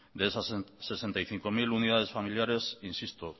de esas sesenta y cinco mil unidades familiares insisto